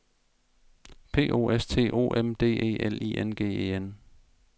P O S T O M D E L I N G E N